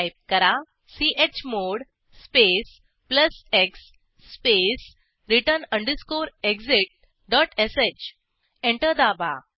type करा chmod space plus x space return underscore exit dot sh enter दाबा